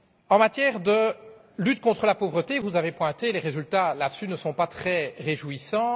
En matière de lutte contre la pauvreté vous l'avez noté les résultats ne sont pas très réjouissants